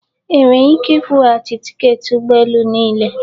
Enwere ike ịkwụghachi tiketi ụgbọ elu niile?